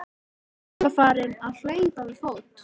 Hann var farinn að hlaupa við fót.